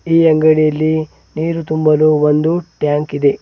ಈ ಅಂಗಡಿಯಲ್ಲಿ ನೀರು ತುಂಬಲು ಒಂದು ಟ್ಯಾಂಕ್ ಇದೆ.